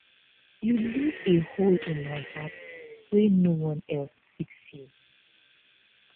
you leave a hole in my heart wey no one else fit fill